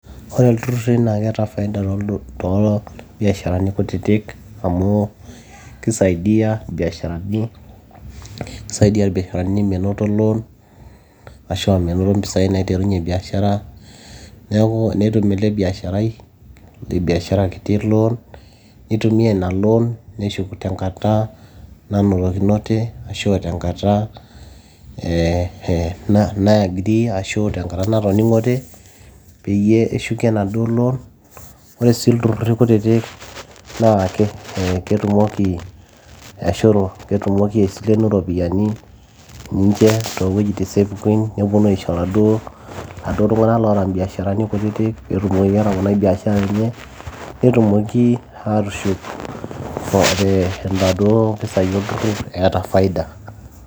ore ilturruri naa keeta faida too, tombiasharani kutitik amu kisaidia irbiasharani menoto loan ashua menoto mpisai naiterunyie biashara neeku netum ele biasharai le biashara kiti loan nitumia ina loan neshuk tenkata nanotokinote ashu tenkata nae eh, agree ashu tenkata natoning'ote peyie eshuki enaduo loan ore sii ilturruri kutitik naa ketumoki ashu ketumoki aisilenu iropiyiani ninche toowuejitin sapukin neponu aisho iladuo, iladuo tung'anak loota imbiasharani kutitik peetumoki atoponai biashara enye netumoki atushuk inaduo pisai olturrur eeta faida.